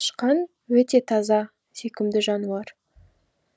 тышқан өте таза сүйкімді жануар